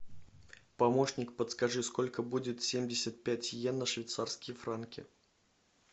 помощник подскажи сколько будет семьдесят пять йен на швейцарские франки